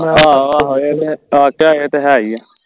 ਆਹੋ ਆਹੋ ਇਹ ਤੇ ਹੈ ਹੀ ਆ